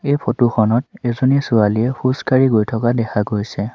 এই ফটো খনত এজনী ছোৱালীয়ে খোজকাঢ়ি গৈ থকা দেখা গৈছে।